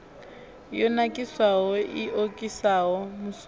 yo nakiswaho i okisaho musuku